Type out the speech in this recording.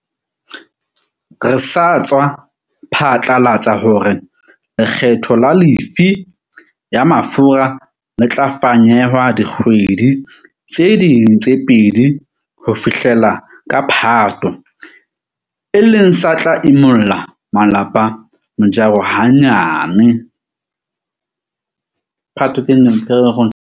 Re sa tswa phatlalatsa hore lekgetho la lefii ya mafura le tla fanyehwa dikgwedi tse ding tse pedi ho fihlela ka Phato, e leng se tla imollang malapa mojaro hanyane.